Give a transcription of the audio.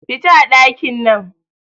Fita a ɗakin nan